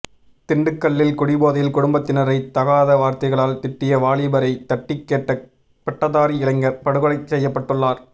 திண்டுக்கல்லில் குடிபோதையில் குடும்பத்தினரை தகாத வார்த்தைகளால் திட்டிய வாலிபரைத் தட்டிக் கேட்ட பட்டதாரி இளைஞர் படுகொலை செய்யப்பட்டுள்ளார்